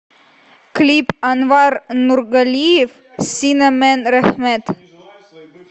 клип анвар нургалиев сина мен рэхмэт